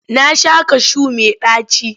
Na sha kashu mai ɗaci.